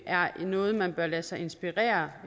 er noget man bør lade sig inspirere